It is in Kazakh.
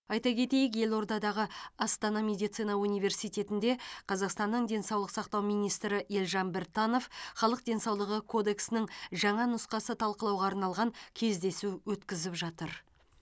айта кетейік елордадағы астана медицина университетінде қазақстанның денсаулық сақтау министрі елжан біртанов халық денсаулығы кодексінің жаңа нұсқасы талқылауға арналған кездесу өткізіп жатыр